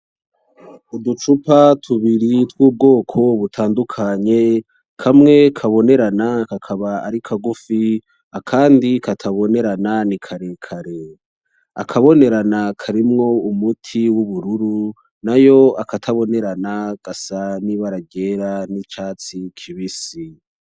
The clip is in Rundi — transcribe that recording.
Uducupa tubiri tw'ubwoko butandukanye. Kamwe kaboneraka kakaba ari kagufi, akandi katabonerana ni karekare. Akabonerana karimwo umuti w'ubururu, nayo akatabonerana gasa n'ibara ryera, n'icatsi kibisi.